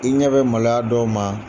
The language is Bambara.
I ɲɛ bɛ maloya a dɔw ma.